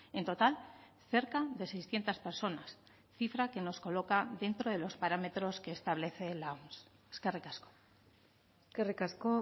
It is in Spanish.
en total cerca de seiscientos personas cifra que nos coloca dentro de los parámetros que establece la oms eskerrik asko eskerrik asko